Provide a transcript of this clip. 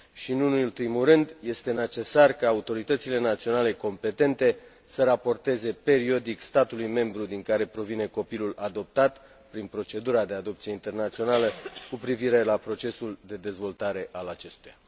Nu în ultimul rând, este necesar ca autoritățile naționale competente să raporteze periodic statului membru din care provine copilul adoptat, prin procedura de adopție internațională, cu privire la procesul de dezvoltare a acestuia.